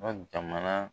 jamana